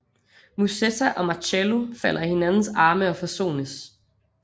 Musetta og Marcello falder i hinandens arme og forsones